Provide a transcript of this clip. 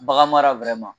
Bagan mara